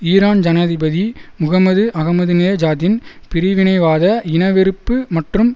Iran ஜனாதிபதி Muhammad அகமதினேஜாத்தின் பிரிவினைவாத இன வெறுப்பு மற்றும்